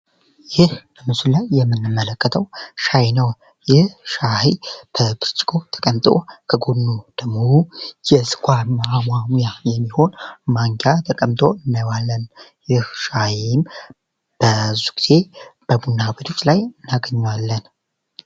ይህ በምስሉ ላይ የምንመለከተው ሻይ ነው ይህ ሻይ በብርጭቆ ተቀምጦ የስኳር ማሟሚያ የሚሆን ማንኪያ ተቀምጦ እና ይህ ሻይ ብዙ ጊዜ ቡና ቤቶች ላይ እናገኘዋለን።